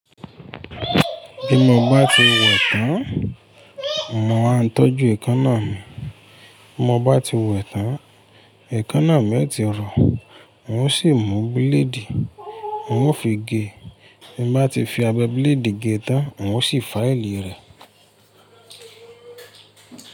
Bí mo bá ti wẹ̀ tán, mo máa ń tọ́jú ẹ̀ekanna mì. Mo bá ti wẹ̀ tán, ẹ̀ekannà mẹ́ti rọ, n ó sì mú bíléèdì, n ó fi ge. Ti mo bá ti fi abẹ bíléèdì ge tán, n ó sì fáìlì rẹ̀